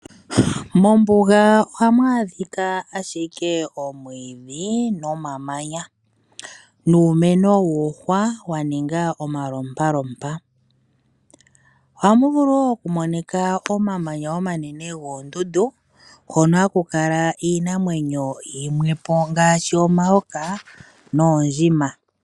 Mombuga ohamu adhika ashike omwiidhi nomamanya. Nuumeno wuuhwa wa ninga mpeya kamwe mpeya kamwe. Ohamu vulu woo oku monika omamanya omanene goondundu. Gono haku kala iinamwenyo yimwe ngaashi omayoka noondjima.